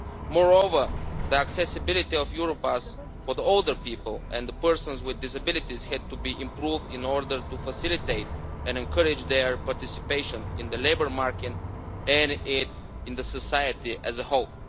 Moreover, the accessibility of Europass for older people and persons with disabilities had to be improved in order to facilitate and encourage their participation in the labour market and in society as a whole.